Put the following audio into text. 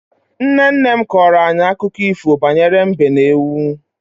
Nne nne m kọrọ anyị akụkọ ifo banyere mbe na ewu.